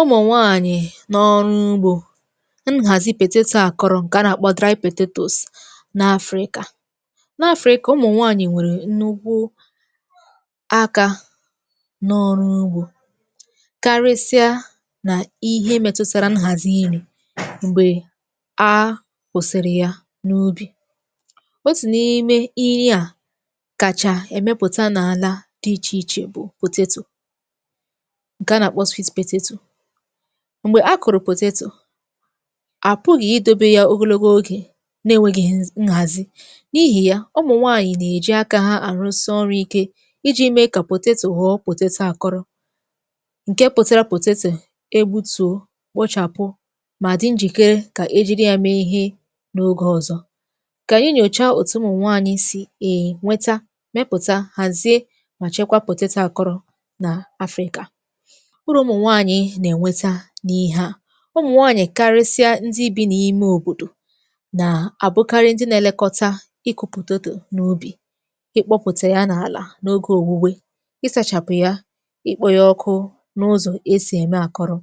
Ụmụ̀nwaànyị̀ n’ọrụ ugbȯ, nhàzi potato àkọrọ ǹkè a nà-àkpọ dry potatoes n’afrika. N’afrika ụmụ̀nwaànyị̀ nwèrè nnukwu akȧ n’ọrụ ugbȯ karịsịa nà ihe mètụ̇tara nhàzi iri̇ m̀gbè a kwụ̀sịrị ya n’ubì. Otụ̀ n’ime iri à kàchà èmepùta n’àla dị ichè ichè bụ̀ potato nke a na akpọ sweet potato. Mgbè akụ̀rụ̀ pọtato, àpụghị̀ idobe ya ogologo ogè na-enwėgighi̇ nhàzi, n’ihì ya ụmụ̀ nwaànyị̀ nà-èji akȧ ha àrụsị ọrụ̇ ike iji̇ mee kà potato họ potato àkọrọ, ǹke pụtara potato ebutùo, kpochàpụ mà dị njìkere kà ejiri ya mee ihe n’ogė ọ̀zọ. Kà ànyị nyòcha òtù ụmụnwàànyị̀ sì ènweta, mepùta, hàzie mà chekwa potato àkọrọ nà Afrịka. Uru ụmụ̀nwànyị̀ na-enweta na ihe a, ụmụnwàànyị̀ karịsịa ndi bi̇ n’ime òbòdò nà àbụkarị ndi na-elekọta iku̇ potato n’ubì, ịkpọ̇pùtè ya n’àlà n’ogė òwùwė, ịsȧchàpụ̀ ya, ikpȯ yȧ ọkụ n’ụzọ esì ème àkọrọ̇.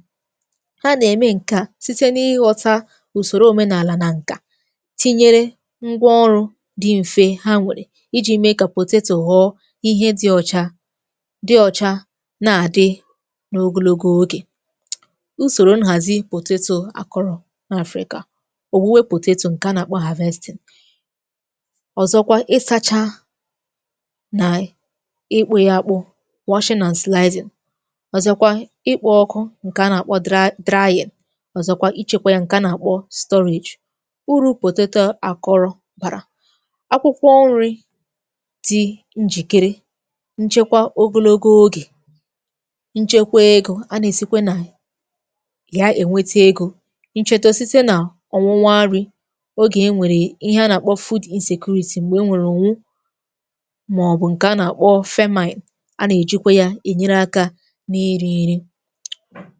Ha nà-ème ǹke a site n’ighọta ùsòrò òmenàlà nà ǹkà tinyere ngwa ọrụ̇ di mfe ha nwèrè iji̇ mee kà potato họ̀ọ ihe di ọ̇chȧ dị ọcha, na adị n'ogologo oge. Usòrò nhàzi potato àkọrọ̀ n’afrika. Òwụwẹ potato ǹkè a nà-àkpọ harvesting, ọ̀zọkwa ịsȧchȧ nà ịkpụ̇ yȧ àkpụ washing and slizing, ọ̀zọkwa ịkpọ̇ ọkụ ǹkè a nà-àkpọ dra drying, ọ̀zọkwa ichėkwȧ yȧ ǹkè a nà-àkpọ storage. Uru̇ potato àkọrọ̀ bàra: akwụkwọ nri̇ dị̇ njìkere nchekwa ogologo ogè, nchekwa ego, a na esikwa na ya ènweta egȯ, nchete site nà ọnwụnwa nrị̇, ogè e nwèrè ihe a nà-àkpọ food insecurity m̀gbè e nwèrè ǹwụ, màọbụ̇ ǹkè a nà-àkpọ famine e a nà-èjikwa ya ènyere akȧ n’iri̇ i̇ri̇.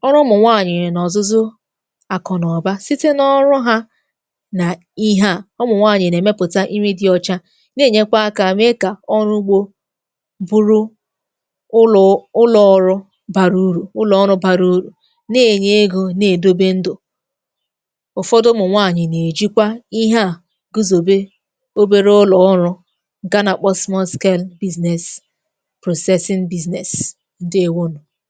Ọrụ ụmụ̀nwaànyị̀ nà ọ̀zụzụ àkụ na ụ̀ba site n’ọrụ ha nà ihe à ụmụ̀nwaànyị̀ nà-èmepụ̀ta iri̇ dị ọcha, na-ènyekwa akȧ mee kà ọrụ ugbȯ bụrụ ụlụ ụlọ rụ bara uru, ụlọ ọrụ bàrà uru, na enye ego, na-èdobe ndù. Ụ̀fọdụ ụmụ̀ nwaanyị̀ nà-èjikwa ihe à gùzòbe obere ụlọ̀ ọrụ̇ nke a na kpọ small scale business, processing business. Ǹdewȯnù.